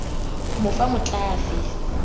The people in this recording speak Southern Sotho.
mo fa matl a fe